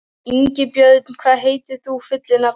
Ingibjörn, hvað heitir þú fullu nafni?